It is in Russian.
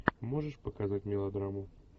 можешь показать мелодраму